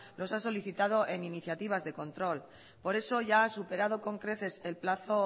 los ha solicitado en iniciativas de control por eso ya superado con creces el plazo